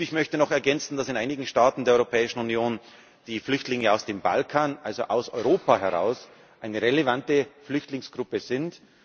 Und ich möchte noch ergänzen, dass in einigen Staaten der Europäischen Union die Flüchtlinge aus dem Balkan also aus Europa heraus eine relevante Flüchtlingsgruppe